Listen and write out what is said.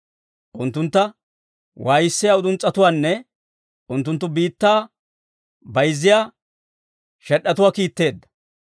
Unttuntta waayissiyaa uduns's'etuwaanne unttunttu biittaa bayzziyaa shed'd'atuwaa kiitteedda.